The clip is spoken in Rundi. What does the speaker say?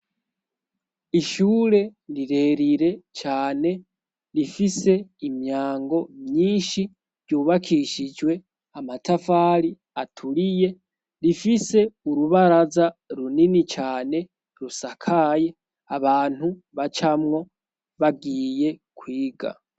Ishure rirerire cane rifise imyango myinshi ryubakishijwe amatafari aturiye rifise urubaraza runini cane rusakaye abantu bacamwo bagiye kwiga.